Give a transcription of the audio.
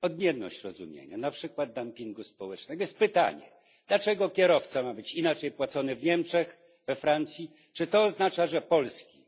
Chodzi o różne rozumienie na przykład dumpingu socjalnego. Pojawia się pytanie dlaczego kierowca ma być inaczej opłacany w Niemczech czy we Francji? Czy to oznacza, że polski